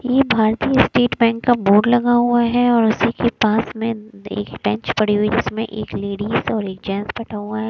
ये भारतीय state bank का बोर्ड लगा हुआ है और उसी के पास में एक बेंच पड़ी हुई है जिसमें एक लेडीज और एक जेंट्स बैठा हुआ है।